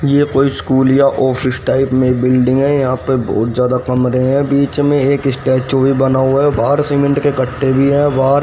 यह कोई स्कूल या ऑफिस टाइप में बिल्डिंग है यहां पे बहुत ज्यादा कमरे हैं बीच में एक स्टैचू भी बना हुआ है बाहर सीमेंट के कट्टे भी है बाहर--